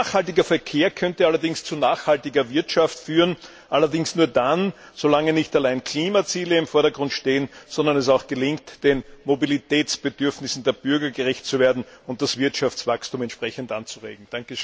Ein nachhaltiger Verkehr könnte allerdings zu nachhaltiger Wirtschaft führen, allerdings nur dann, wenn nicht allein Klimaziele im Vordergrund stehen, sondern es auch gelingt, den Mobilitätsbedürfnissen der Bürger gerecht zu werden und das Wirtschaftswachstum entsprechend anzuregen.